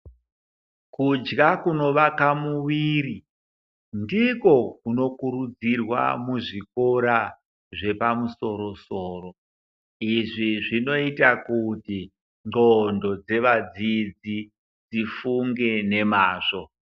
Kudya kunovaka muviri ndiko kunokurudzirwa muzvikora zvepamusoro-soro. Izvi zvinoita kuti nqondo dzevadzidzi dzifunge nemazvo.